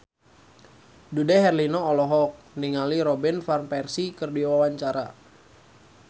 Dude Herlino olohok ningali Robin Van Persie keur diwawancara